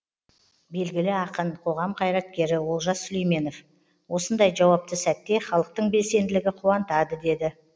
белгілі ақын қоғам қайраткері олжас сүлейменов осындай жауапты сәтте халықтың белсенділігі қуантады деді